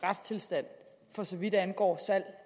retstilstand for så vidt angår salg